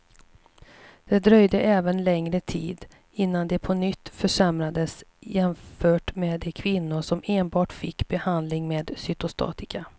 Det dröjde även längre tid innan de på nytt försämrades jämfört med de kvinnor som enbart fick behandling med cytostatika.